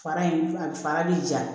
Fara in a fara bɛ ja